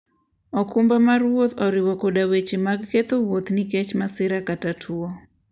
okumba mar wuoth oriwo koda weche mag ketho wuoth nikech masira kata tuwo.